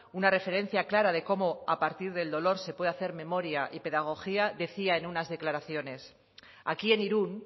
una referencia clara de cómo a partir del dolor se puede hacer memoria y pedagogía decía en unas declaraciones aquí en irún